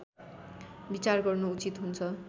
विचार गर्नु उचित हुन्छ